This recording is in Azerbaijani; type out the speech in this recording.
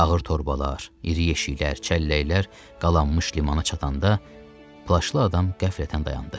Ağır torbalar, iri yeşiklər, çəlləklər qalanmış limana çatanda plaşlı adam qəflətən dayandı.